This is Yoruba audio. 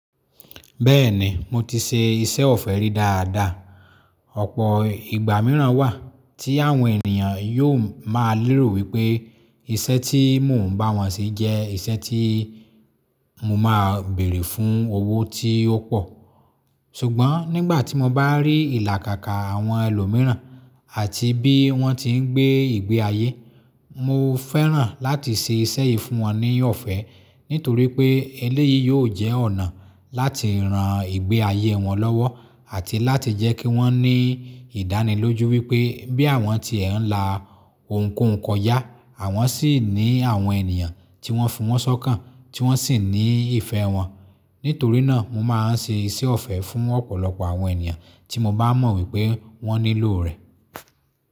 Bẹ́ẹ̀ni mo ti ṣe iṣẹ́ ọ̀fẹ́ rí dáadáa. Ọ̀pọ̀ ìgbà mìíràn wà tí àwọn ènìyàn yóò máa lérò wípé iṣẹ́ tí mò ń bá wọn ṣe jẹ́ iṣẹ́ tí mo máa béèrè fún owó tí ó pọ̀. Ṣùgbọ́n nígbà tí mo bá rí ìlàkàkà àwọn ẹlòmíràn àti bí wọ́n ti ń gbé ìgbé ayé, mo fẹ́ràn láti ṣe iṣẹ́ yìí fún wọn ní ọ̀fẹ́ nítorí pé eléyìí yóò jẹ́ ọ̀nà láti ran ìgbé ayé wọn lọ́wọ́ àti láti jẹ́ kí wọ́n ní ìdánilójú wípé bí àwọn tí ẹ̀ ń la ohunkóhun kọ já, àwọn sì ní àwọn ènìyàn tí wọ́n fi wọ́n ṣọ́kàn, tí wọ́n sì ní ìfẹ́ wọn. Nítorí náà mo máa ń ṣe iṣẹ́ ọ̀fẹ́ fún ọ̀pọ̀lọpọ̀ àwọn ènìyàn tí mo bá mọ̀ wípé wọ́n nílò rẹ̀.